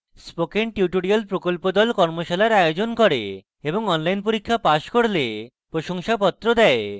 spoken tutorial প্রকল্প the কর্মশালার আয়োজন করে এবং online পরীক্ষা pass করলে প্রশংসাপত্র দেয়